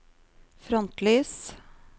frontlys